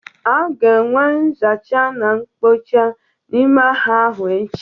A ga-enwe nzacha na nkpocha n'ime ahịa ahụ echi.